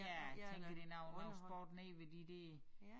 Ja tænker det noget sport nede ved de der